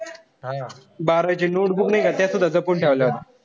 बारावीची notebook नाई का त्यात सुद्धा जपून ठेवल्या होत्या.